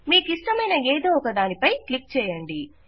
మీకిష్టమైన ఏదో ఒక దాని పై క్లిక్ చేయండి